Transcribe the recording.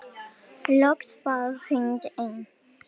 Loks var hringt inn.